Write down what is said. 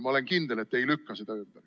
Ma olen kindel, et te ei lükka seda ümber.